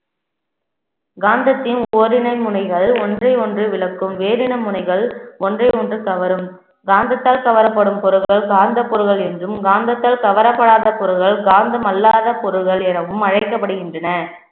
காந்தத்தின் ஓரினை முனைகள் ஒன்றை ஒன்று விளக்கும் வேரின முனைகள் ஒன்றை ஒன்று கவரும் காந்தத்தால் கவரப்படும் பொருட்கள், காந்த பொருள்கள் என்றும் காந்தத்தால் கவரப்படாத பொருட்கள் காந்தம் அல்லாத பொருள்கள் எனவும் அழைக்கப்படுகின்றன